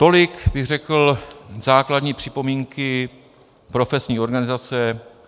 Tolik bych řekl základní připomínky profesní organizace.